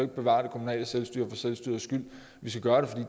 bevare det kommunale selvstyre for selvstyrets skyld vi skal gøre det